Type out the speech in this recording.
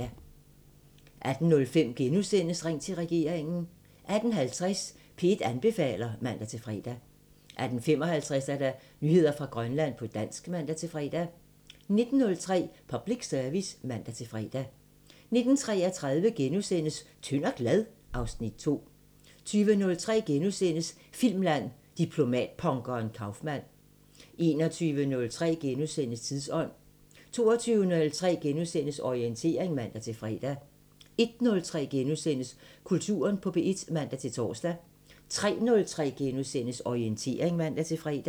18:05: Ring til regeringen * 18:50: P1 anbefaler (man-fre) 18:55: Nyheder fra Grønland på dansk (man-fre) 19:03: Public Service *(man-fre) 19:33: Tynd og glad? (Afs. 2)* 20:03: Filmland: Diplomatpunkeren Kaufmann * 21:03: Tidsånd * 22:03: Orientering *(man-fre) 01:03: Kulturen på P1 *(man-tor) 03:03: Orientering *(man-fre)